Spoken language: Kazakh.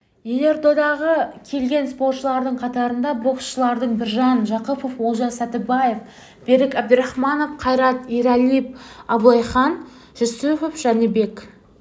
елордаға келген спортшылардың қатарында боксшылардан біржан жақыпов олжас сәттібаев берік әбдірахманов қайрат ералиев абылайхан жүсіпов жәнібек